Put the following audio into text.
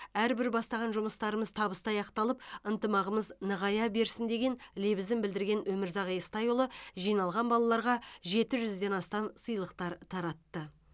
әрбір бастаған жұмыстарымыз табысты аяқталып ынтымағымыз нығая берсін деген лебізін білдірген өмірзақ естайұлы жиналған балаларға жеті жүзден астам сыйлық таратты